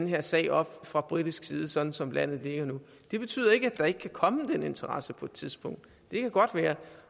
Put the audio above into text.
her sag op fra britisk side sådan som landet ligger nu det betyder ikke at der ikke kan komme den interesse på et tidspunkt det kan godt være